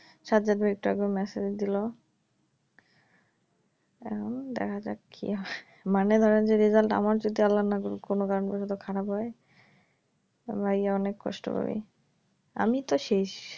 শার্দুল ভাই একটু আগে message দিল আম দেখা যাক কি হয় মানে ধরেন যে result আমার যদি আল্লা না করুক কোনো কারণ বশত খারাপ হয় আল্লাই অনেক কষ্ট করি আমি তো শেষ